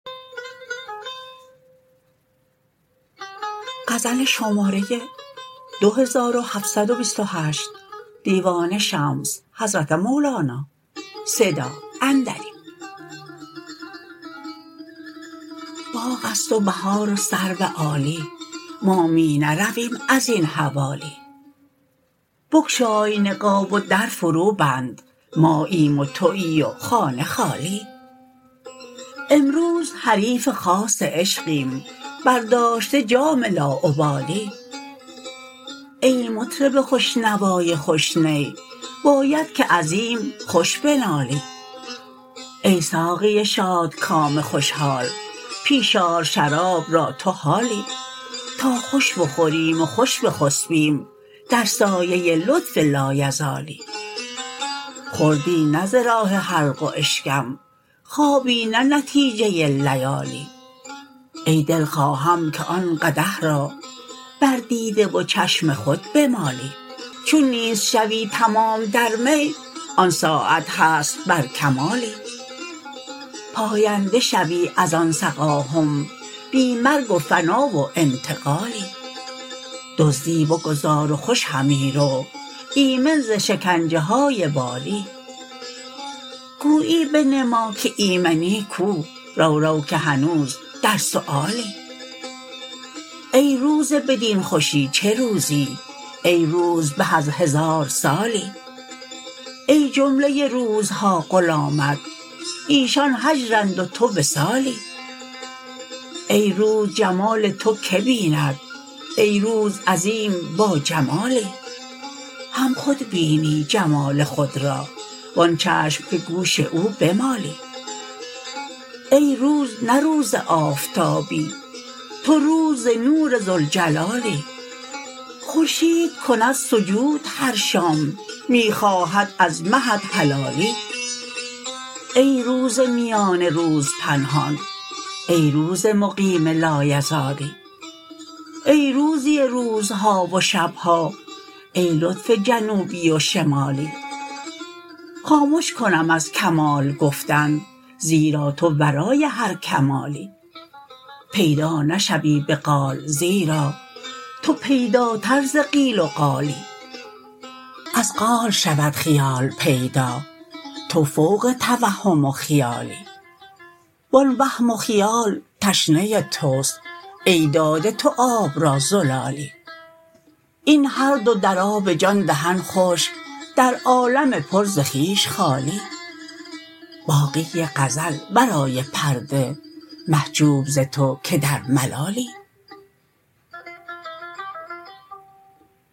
باغ است و بهار و سرو عالی ما می نرویم از این حوالی بگشای نقاب و در فروبند ماییم و توی و خانه خالی امروز حریف خاص عشقیم برداشته جام لاابالی ای مطرب خوش نوای خوش نی باید که عظیم خوش بنالی ای ساقی شادکام خوش حال پیش آر شراب را تو حالی تا خوش بخوریم و خوش بخسبیم در سایه لطف لایزالی خوردی نه ز راه حلق و اشکم خوابی نه نتیجه لیالی ای دل خواهم که آن قدح را بر دیده و چشم خود بمالی چون نیست شوی تمام در می آن ساعت هست بر کمالی پاینده شوی از آن سقاهم بی مرگ و فنا و انتقالی دزدی بگذار و خوش همی رو ایمن ز شکنجه های والی گویی بنما که ایمنی کو رو رو که هنوز در سؤالی ای روز بدین خوشی چه روزی ای روز به از هزار سالی ای جمله روزها غلامت ایشان هجرند و تو وصالی ای روز جمال تو کی بیند ای روز عظیم باجمالی هم خود بینی جمال خود را و آن چشم که گوش او بمالی ای روز نه روز آفتابی تو روز ز نور ذوالجلالی خورشید کند سجود هر شام می خواهد از مهت هلالی ای روز میان روز پنهان ای روز مقیم لایزالی ای روزی روزها و شب ها ای لطف جنوبی و شمالی خامش کنم از کمال گفتن زیرا تو ورای هر کمالی پیدا نشوی به قال زیرا تو پیداتر ز قیل و قالی از قال شود خیال پیدا تو فوق توهم و خیالی و آن وهم و خیال تشنه توست ای داده تو آب را زلالی این هر دو در آب جان دهن خشک در عالم پر ز خویش خالی باقی غزل ورای پرده محجوب ز تو که در ملالی